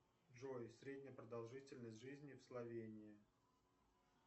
джой средняя продолжительность жизни в словении